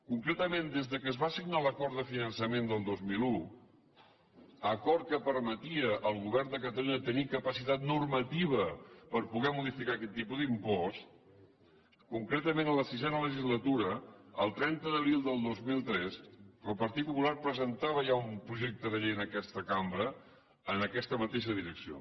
concretament des que es va signar l’acord de finançament del dos mil un acord que permetia al govern de catalunya tenir capacitat normativa per poder modificar aquest tipus d’impost concretament a la sisena legislatura el trenta d’abril del dos mil tres el partit popular presentava ja un projecte de llei en aquesta cambra en aquesta mateixa direcció